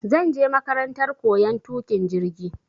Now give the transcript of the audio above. Zanje makarantar koyan tuƙin jirgi